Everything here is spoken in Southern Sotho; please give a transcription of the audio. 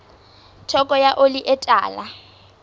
theko ya oli e tala